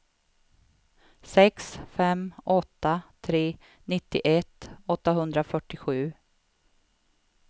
sex fem åtta tre nittioett åttahundrafyrtiosju